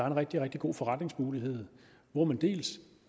en rigtig rigtig god forretningsmulighed hvor man